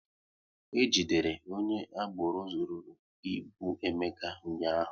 E jidere onye agboro zụrụru ịbụ Emeka ụnyaahụ